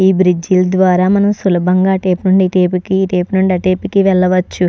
ఈ బ్రిడ్జి ద్వార మనం సులభంగా ఆ టేపు నుండి ఈ టేపుకి ఈ టేపు నుండి అటేపుకి వెళ్లవచ్చు.